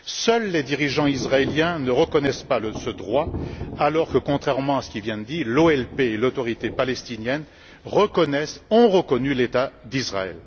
Seuls les dirigeants israéliens ne reconnaissent pas ce droit alors que contrairement à ce qui vient d'être dit, l'OLP et l'Autorité palestinienne reconnaissent et ont reconnu l'État d'Israël.